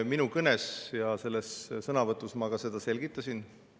Oma kõnes, sõnavõtus ma seda ka selgitasin.